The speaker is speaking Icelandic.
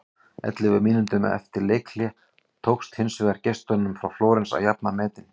Ellefu mínútum eftir leikhlé tókst hins vegar gestunum frá Flórens að jafna metin.